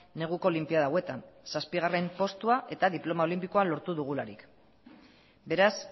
neguko olinpiada hauetan zazpigarrena postua eta diploma olinpikoa lortu dugularik beraz